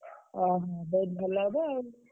ଓଃ! ବହୁତ୍ ଭଲ ହବ ଆଉ।